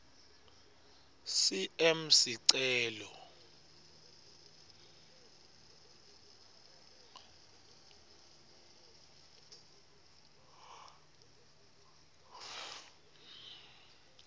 cm sicelo